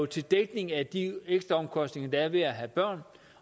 til dækning af de ekstra omkostninger der er ved at have børn